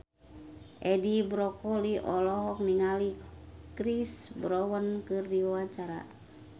Edi Brokoli olohok ningali Chris Brown keur diwawancara